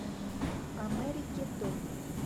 америгеддон